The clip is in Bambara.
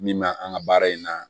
Min bɛ an ka baara in na